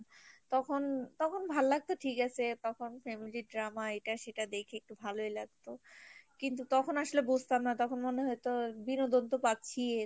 তখন, তখন ভাল্লাগতো ঠিক আছে তখন family র drama এটা সেটা দেখে একটু ভালোই লাগতো কিন্তু তখন আসলে বুজতাম না তখন মনে হয়তো বিনোদন তো পাচ্ছিই